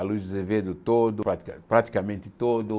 a Luz de Azevedo todo, pratica praticamente todo.